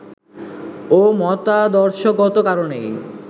ও মতাদর্শগত কারণেই